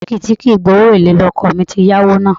Báńkì tí kì í gba owó èlé ni ọkọ̀ mi ti yá owó náà